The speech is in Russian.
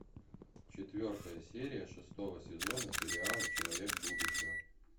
четвертая серия шестого сезона сериала человек будущего